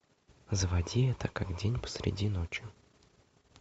заводи это как день посреди ночи